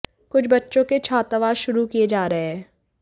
कुछ बच्चों के छात्रावास शुरू किए जा रहे हैं